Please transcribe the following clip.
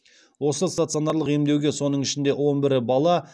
осы стационарлық емдеуге соның ішінде он бірі бала